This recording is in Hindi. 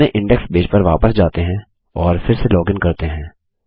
अपने इंडेक्स पेज पर वापस जाते हैं और फिर से लॉगिन करते हैं